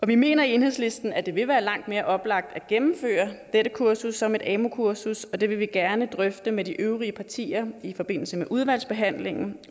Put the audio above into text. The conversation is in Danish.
vi mener i enhedslisten at det vil være langt mere oplagt at gennemføre dette kursus som et amu kursus og det vil vi gerne drøfte med de øvrige partier i forbindelse med udvalgsbehandlingen